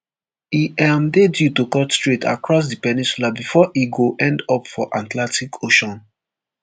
e um dey due to cut straight across di peninsula bifor e go end up for atlantic ocean